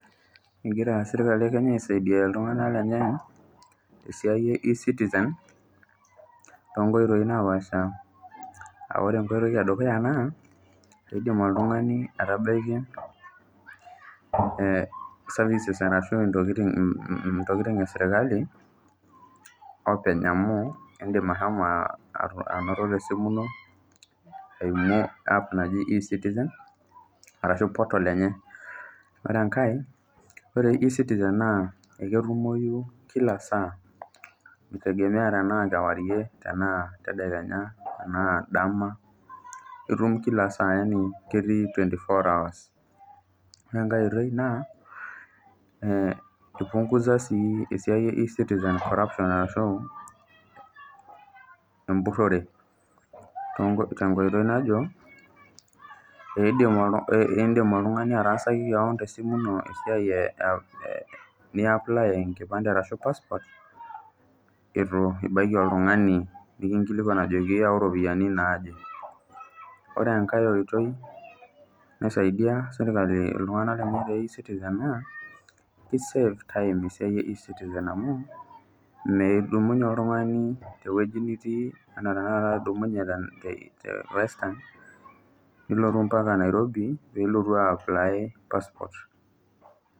Egira serkali ekenya aisadia iltunganak lenye tesiai e ecitizen toonkoitoi napasha , aa ore enkoitoi edukuya naa indim oltungani atabaiki services ashu ntokitin esirkali openy amu indim ashomo anoto tesimu ino eimu app naji ecitizen arashu portal enye . Ore enkae naa ore ecitizen naa eketumoyu kila saa, mitegemea tenaa kewarie , tenaa tedekenya ,tenaa dama , itum kila saa yani ketii twenty four hours. Ore enkae siai naa ipunguza sii esiai ecitizen corruption ashu empurore tenkoitoi najo , indim oltungani atasaki kewon tesimu ino esiai niaply enkipande ashu passport itu kinkilikwan ajo iyau ropiyiani naje .Ore enkae oitoi naisadia sirkali iltunganak te ecitizen naa isave time oltungani tesiai ecitizen amu meidumunyie oltungani tewueji nitii anaa tenakata